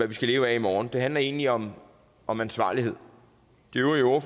vi skal leve af i morgen det handler egentlig om om ansvarlighed de øvrige